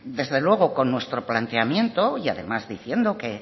desde luego con nuestro planteamiento y además diciendo que